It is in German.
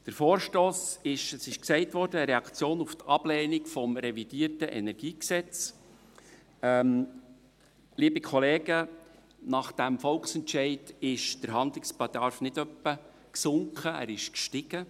Der Vorstoss ist – es wurde gesagt – eine Reaktion auf die Ablehnung des revidierten KEnG. Liebe Kollegen, nach dem Volksentscheid ist der Handlungsbedarf nicht etwa gesunken, er ist gestiegen.